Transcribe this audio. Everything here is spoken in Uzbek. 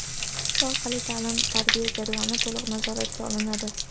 Shu orqali ta’lim-tarbiya jarayoni to‘liq nazoratga olinadi.